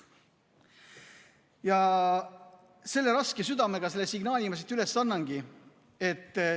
Ja raske südamega ma selle signaali siit annangi.